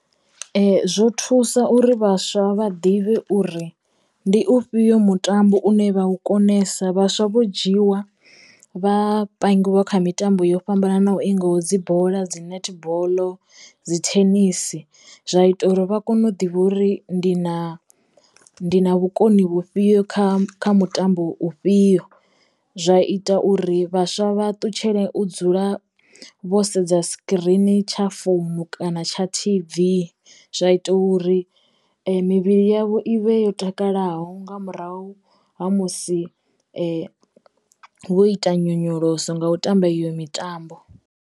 Zwo thusa uri vhaswa vha ḓivhe uri ndi ufhio mutambo une vha u konesa vhaswa vho dzhiwa vha pangiwa kha mitambo yo fhambananaho ingaho dzi bola, dzi nethiboḽo, dzi thenisi zwa ita uri vha kone u ḓivha uri ndi na ndi na vhukoni vhufhio kha kha mutambo ufhio zwa ita uri vhaswa vha ṱutshele u dzula vho sedza sikirini tsha founu kana tsha T_V zwa ita uri mivhili yavho i vhe yo takalaho nga murahu ha musi vho ita nyonyoloso nga u tamba iyo mitambo.